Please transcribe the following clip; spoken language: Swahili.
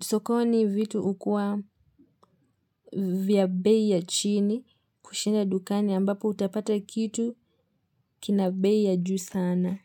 sokoni vitu ukua vya bei ya chini kushinda dukani ambapo utapata kitu kina bei ya juu sana.